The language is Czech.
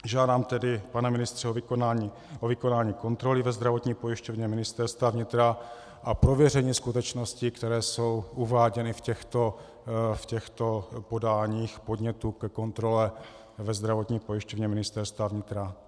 Žádám tedy, pane ministře, o vykonání kontroly ve Zdravotní pojišťovně Ministerstva vnitra a prověření skutečností, které jsou uváděny v těchto podáních podnětů ke kontrole ve Zdravotní pojišťovně Ministerstva vnitra.